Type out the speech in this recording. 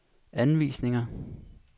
anvisninger